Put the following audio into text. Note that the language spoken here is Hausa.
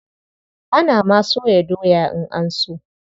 Ana ma soya doya in an so.